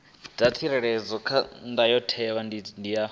dza tsireledzwa kha ndayotewa ya